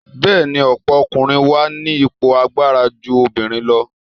Bẹ́ẹ̀ni, ọ̀pọ̀ ọkùnrin wà ní ipò agbára ju obìnrin lọ.